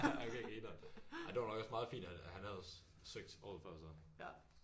Okay grineren ej det var nok også meget fint at han havde at han havde søgt året før så